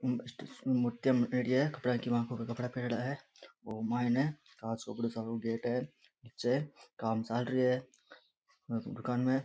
और माइन कांच को बड़ो सारों गेट है निचे काम चाल रो है दुकान म।